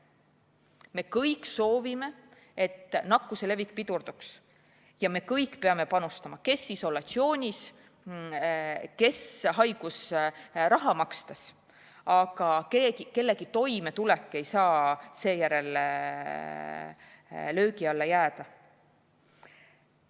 Me kõik soovime, et nakkuse levik pidurduks, ja me kõik peame panustama – kes isolatsioonis olles, kes haigusraha makstes –, aga kellegi toimetulek ei saa seetõttu löögi alla jääda.